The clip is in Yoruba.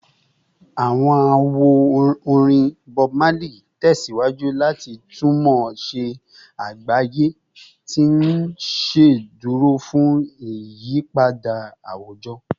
Awọn awo-orin Bob Marley tẹsiwaju lati tunmọ si agbaye, ti n ṣeduro fun iyipada awujọ